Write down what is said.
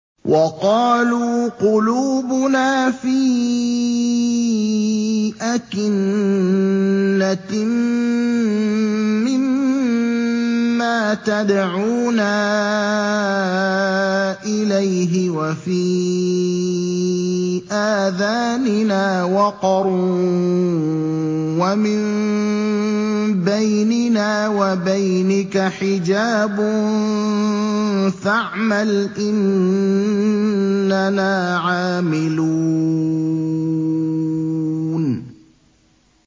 وَقَالُوا قُلُوبُنَا فِي أَكِنَّةٍ مِّمَّا تَدْعُونَا إِلَيْهِ وَفِي آذَانِنَا وَقْرٌ وَمِن بَيْنِنَا وَبَيْنِكَ حِجَابٌ فَاعْمَلْ إِنَّنَا عَامِلُونَ